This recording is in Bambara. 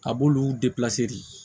A b'olu de